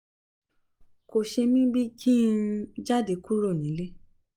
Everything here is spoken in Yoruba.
kò ṣe mí bí i kí n jáde kúrò nílè